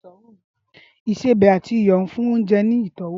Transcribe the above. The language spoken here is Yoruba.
ìsẹbè ati iyọ fun ounjẹ ni itọwo.